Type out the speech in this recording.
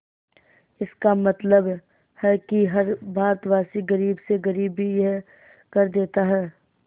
इसका मतलब है कि हर भारतवासी गरीब से गरीब भी यह कर देता है